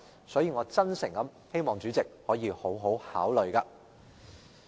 所以，我真誠希望主席可以好好考慮。